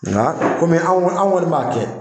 Nka kɔmi an kɔni an kɔni b'a kɛ.